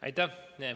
Aitäh!